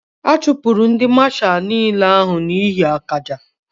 A chupuru ndi mashalu n'ile ahu n'ihe akaja